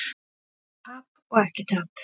Tap og ekki tap?